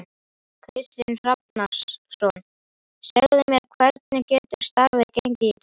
Kristinn Hrafnsson: Segðu mér, hvernig hefur starfið gengið í dag?